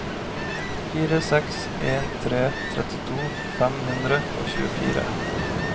fire seks en tre trettito fem hundre og tjuefire